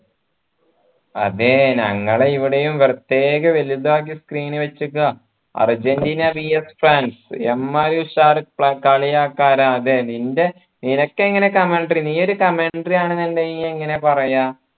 അതെ ഞങ്ങളെ ഇവിടെയും പ്രത്യേക വലുതാക്കിയ screen വച്ച്ക്ക അർജൻറീന VS ഫ്രാൻസ് എമ്മാരി ഉഷാർ കളിയാക്കാ തെ നിൻറെ നിനക്ക് എങ്ങനെ നീയൊരു ആണെന്നുണ്ടെങ്കിൽ എങ്ങനെ പറയാ